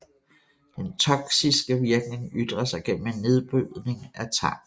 Den toksiske virkning ytrer sig gennem en nedbrydning af tarmen